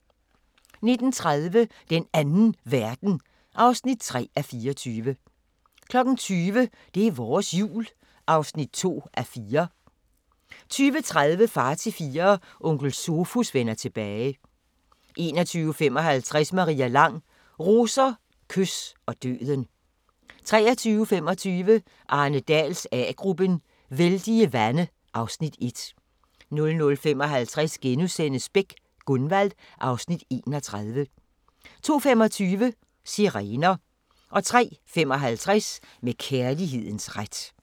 19:30: Den Anden Verden (3:24) 20:00: Det er vores Jul (2:4) 20:30: Far til Fire – Onkel Sofus vender tilbage 21:55: Maria Lang: Roser, kys og døden 23:25: Arne Dahls A-gruppen: Vældige vande (Afs. 1) 00:55: Beck: Gunvald (Afs. 31)* 02:25: Sirener 03:55: Med kærlighedens ret